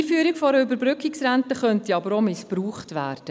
Die Einführung einer Überbrückungsrente könnte aber auch missbraucht werden.